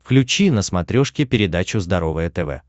включи на смотрешке передачу здоровое тв